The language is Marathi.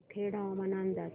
जामखेड हवामान अंदाज